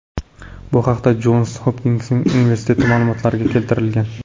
Bu haqda Jons Hopkins universiteti ma’lumotlariga keltirilgan .